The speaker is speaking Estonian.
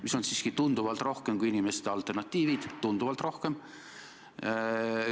Seda on siiski tunduvalt rohkem kui inimeste alternatiivid, tunduvalt rohkem.